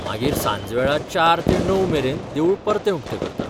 मागीर सांजवेळा चार ते णव मेरेन देवूळ परत उक्तें करतात.